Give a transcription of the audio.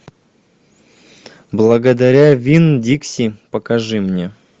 благодаря вин дикси покажи мне